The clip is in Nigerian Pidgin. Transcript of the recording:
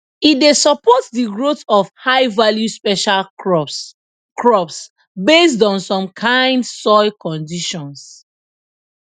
e dey support de growth of highvalue special crops crops based on some kind soil conditions